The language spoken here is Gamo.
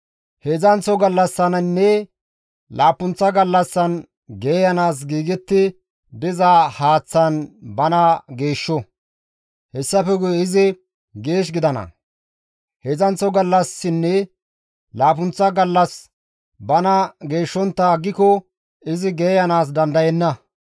Heedzdzanththo gallassaninne laappunththa gallassan geeyanaas giigetti diza haaththan bana geeshsho; hessafe guye izi geesh gidana; heedzdzanththo gallassinne laappunththa gallas bana geeshshontta aggiko izi geeyanaas dandayenna.